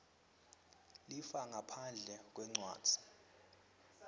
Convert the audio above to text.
lifa ngaphandle kwencwadzi